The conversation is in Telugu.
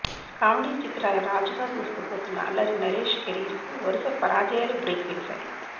కామెడీ చిత్రాల రాజుగా దూసుకుపోతున్న అల్లరి నరేష్ కెరీర్ కు వరుస పరాజయాలు బ్రేక్ వేశాయి